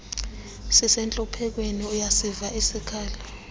sisentluphekweni uyasiva isikhalo